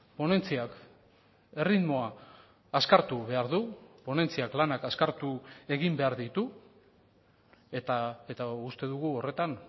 ponentziak erritmoa azkartu behar du ponentziak lanak azkartu egin behar ditu eta uste dugu horretan